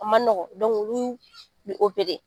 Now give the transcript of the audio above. O man nɔgɔ olu bɛ